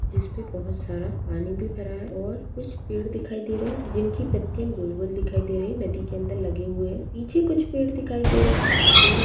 जिसपे बहोत सारा पानी भी भरा है और कुछ पेड़ दिखाई दे रहे हैं जिनकी पत्तियां गोल-गोल दिखाई दे रही हैं नदी के अंदर लगे हुए हैं। पीछे कुछ पेड़ दिखाई दे रहे हैं। दूर --